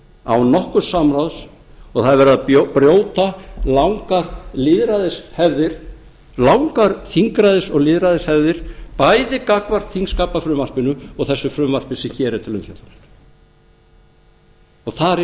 án nokkurs samráðs og það er verið að brjóta langar lýðræðishefðir langar þingræðis og lýðræðishefðir bæði gagnvart þingskapafrumvarpinu og þessu frumvarpi sem hér er til umfjöllunar þar er